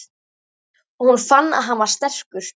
Og hún fann að hann var sterkur.